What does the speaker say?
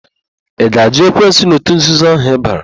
Ị ga-àjụ́ ekwensu na òtù nzuzo ahụ ịbara?